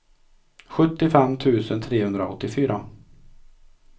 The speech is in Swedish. sjuttiofem tusen trehundraåttiofyra